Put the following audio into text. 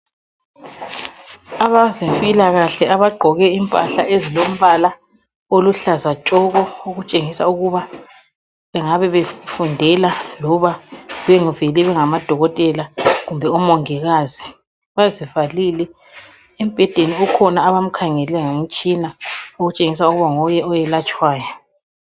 Abezempilakahle abagqoke impahla eziluhlaza tshoko okutshengisa ukuba bangabebefundela kumbe bevele bengamadikotela kumbe abongikazi bazivalile embhedeni ukhona okhengelwe ngemitshina okutshengisa ukuthi nguye owelatshwayo.